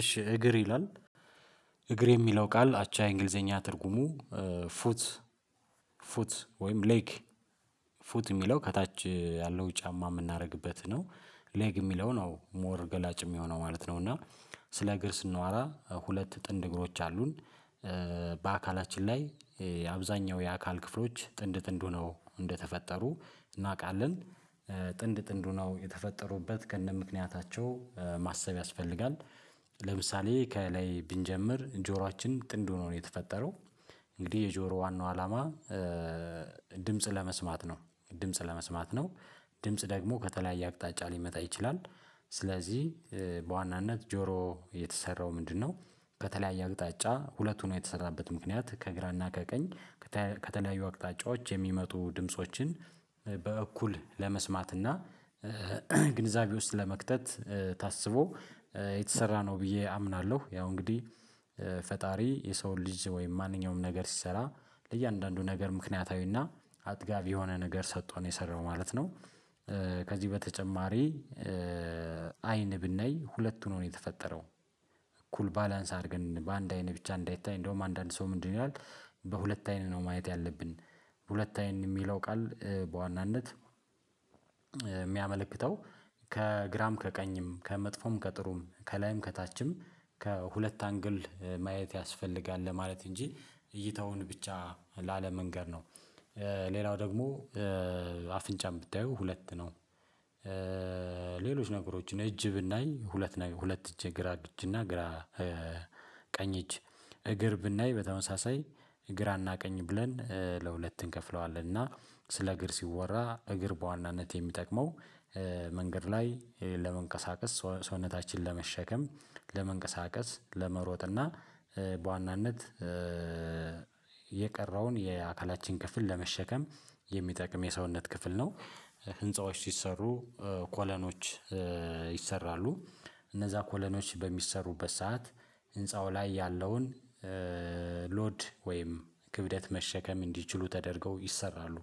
እሺ እግር ይላል እግር የሚለው ቃል አቻ እንግሊዘኛ ትርጉሙ ፉት ፉት ወይም ሌግ ፉት የሚለው ከታች ያለው ጫማ የምናደርግበት ነው። ሌግ የሚለው ነው ሞር ገላጭ የሚሆነው ማለት ነው። እና ስለ እግር ስናወራ ሁለት ጥንድ እግሮች አሉን። በአካላችን ላይ የአብዛኛው የአካል ክፍሎች ጥንድ ጥንድ ሆነው እንደተፈጠሩ እናውቃለን። ጥንድ ጥንዱ ነው የተፈጠሩበት ከነምክንያታቸው ማሰብ ያስፈልጋል። ለምሳሌ ከላይ ብንጀምር ጆሮአችን ጥንድ ሆኖ ነው የተፈጠረው። እንግዲህ የጆሮ ዋናው አላማ። ድምጽ ለመስማት ነው ድምጽ ለመስማት ነው። ድምጽ ደግሞ ከተለያየ አቅጣጫ ሊመጣ ይችላል። ስለዚህ በዋናነት ጆሮ የተሰራው ምንድነው? ከተለያየ አቅጣጫ ሁለቱን የተሰራበት ምክንያት ከግራና ከቀኝ ከተለያዩ አቅጣጫዎች የሚመጡ ድምፆችን በእኩል ለመስማት እና ግንዛቤ ውስጥ ለመክተት ታስቦ የተሰራ ነው። ብዬ አምናለሁ ያው እንግዲህ ፈጣሪ የሰውን ልጅ ወይም ማንኛውም ነገር ሲሰራ ለእያንዳንዱ ነገር ምክንያታዊና አጥጋቢ የሆነ ነገር ሰጠው ነው የሰራው ማለት ነው። ከዚህ በተጨማሪ አይን ብናይ ሁለቱንም ነው የተፈጠረው። እኩል ባላንስ አድርገን በአንድ አይን ብቻ እንዳይታይ እንደውም አንዳንድ ሰው ምንድነው ይላል? በሁለት አይን ነው ማየት ያለብን። በሁለት አይን የሚለው ቃል በዋናነት የሚያመለክተው ከግራም ከቀኝም ከመጥፎም ከጥሩም ከላይም ከታችም ከሁለት አንግል ማየት ያስፈልጋል ለማለት እንጂ እይታውን ብቻ ላለመንገር ነው። ሌላው ደግሞ አፍንጫም ብታየው ሁለት ነው። ሌሎች ነገሮችን እጅ ብናይ ሁለት ነው ሁለት እጅ ግራ እጅ እና ግራ ቀኝ እጅ። እግር ብናይ በተመሳሳይ ግራ አና ቀኝ ብለን ለሁለት እንከፍለዋለን። እና ስለ እግር ሲወራ እግር በዋናነት የሚጠቅመው መንገድ ላይ ለመንቀሳቀስ ሰውነታችን ለመሸከም ለመንቀሳቀስ ለመሮጥ እና በዋናነት የቀረውን የአካላችን ክፍል ለመሸከም የሚጠቅም የሰውነት ክፍል ነው። ህንፃዎች ሲሰሩ ኮለኖች ይሰራሉ እነዛ ኮለኖች በሚሰሩበት ሰዓት ህንፃው ላይ ያለውን ሎድ ወይም ክብደት መሸከም እንዲችሉ ተደርገው ይሰራሉ።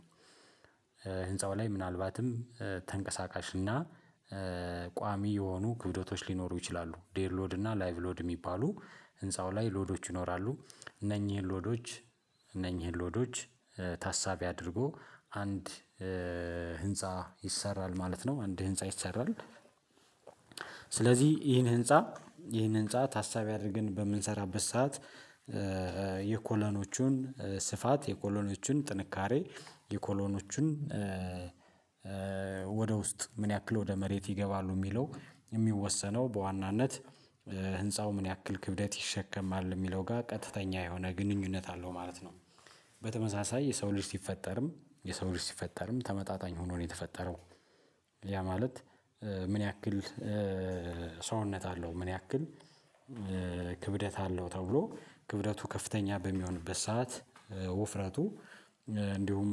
ህንፃው ላይ ምናልባትም ተንቀሳቃሽ እና ቋሚ የሆኑ ጉድለቶች ሊኖሩ ይችላሉ ዴድ ሎድ እና ላይቭ ሎድ የሚባሉ ህንፃው ላይ ሎዶች ይኖራሉ። እነኚህን ሎዶች እነኚህን ሎዶች ታሳቢ አድርጎ አንድ ህንፃ ይሰራል ማለት ነው። አንድ ህንፃ ይሰራል። ስለዚህ ይህን ህንፃ ይህን ህንፃ ታሳቢ አድርገን በምንሰራበት ሰዓት የኮሎኖቹን ስፋት የኮሎኖቹን ጥንካሬ የኮሎኖቹን ወደ ውስጥ ምን ያክል ወደ መሬት ይገባሉ የሚለው የሚወሰነው በዋናነት ህንፃው ምን ያክል ክብደት ይሸከማል የሚለው ጋር ቀጥተኛ የሆነ ግንኙነት አለው ማለት ነው። በተመሳሳይ የሰው ልጅ ሲፈጠርም የሰው ልጅ ሲፈጠርም ተመጣጣኝ ሆኖ ነው የተፈጠረው። ያ ማለት ምን ያክል ሰውነት አለው ምን ያክል ክብደት አለው ተብሎ ክብደቱ ከፍተኛ በሚሆንበት ሰዓት ውፍረቱ እንዲሁም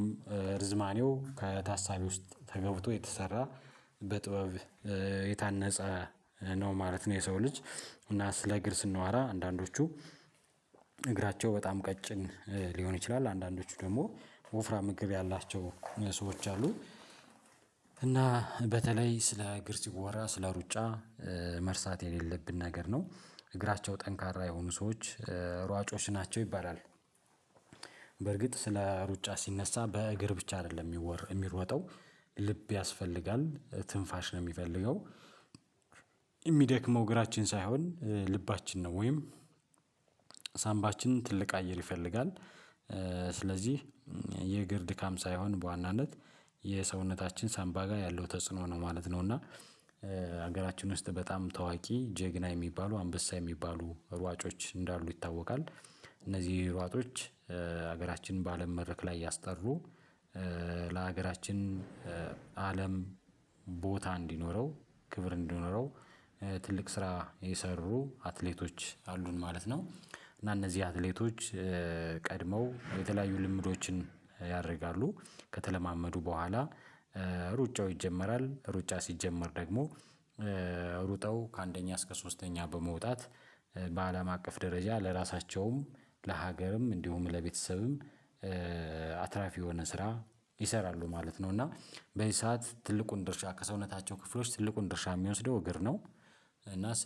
ርዝማኔው ከታሳቢ ውስጥ ተገብቶ የተሰራ በጥበብ የታነፀ ነው ማለት ነው። የሰው ልጅ እና ስለ እግር ስናወራ አንዳንዶቹ እግራቸው በጣም ቀጭን ሊሆን ይችላል አንዳንዶቹ ደግሞ ወፍራም እግር ያላቸው ሰዎች አሉ። እና በተለይ ስለ እግር ሲወራ ስለ ሩጫ መርሳት የሌለብን ነገር ነው። እግራቸው ጠንካራ የሆኑ ሰዎች ሯጮች ናቸው ይባላል። በርግጥ ስለ ሩጫ ሲነሳ በእግር ብቻ አይደለም የሚሮጠው ልብ ያስፈልጋል ትንፋሽ ነው የሚፈልገው። የሚደክመው እግራችን ሳይሆን ልባችን ነው ወይም ሳምባችን ትልቅ አየር ይፈልጋል። ስለዚህ የእግር ድካም ሳይሆን በዋናነት የሰውነታችን ሳንባ ጋር ያለው ተጽዕኖ ነው ማለት ነው። እና ሀገራችን ውስጥ በጣም ታዋቂ ጀግና የሚባሉ አንበሳ የሚባሉ ሯጮች እንዳሉ ይታወቃል። እነዚህ ሯጦች ሀገራችን በአለም መድረክ ላይ ያስጠሩ ለሀገራችን አለም ቦታ እንዲኖረው ክብር እንዲኖረው ትልቅ ስራ የሰሩ አትሌቶች አሉን ማለት ነው። እና እነዚህ አትሌቶች ቀድመው የተለያዩ ልምምዶችን ያደርጋሉ። ከተለማመዱ በኋላ ሩጫው ይጀመራል። ሩጫ ሲጀመር ደግሞ ሩጠው ከአንደኛ እስከ ሶስተኛ በመውጣት በአለም አቀፍ ደረጃ ለራሳቸውም ለሀገርም እንዲሁም ለቤተሰብም አትራፊ የሆነ ስራ ይሰራሉ ማለት ነው። እና በዚህ ሰዓት ትልቁን ድርሻ ከሰውነታቸው ክፍሎች ትልቁን ድርሻ የሚወስደው እግር ነው። እና ስለ